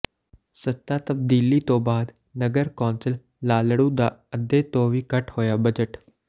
ਸੱਤਾ ਤਬਦੀਲੀ ਤੋਂ ਬਾਅਦ ਨਗਰ ਕੌਾਸਲ ਲਾਲੜੂ ਦਾ ਅੱਧੇ ਤੋਂ ਵੀ ਘੱਟ ਹੋਇਆ ਬਜਟ